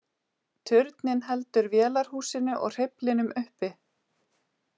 Turninn heldur vélarhúsinu og hreyflinum uppi.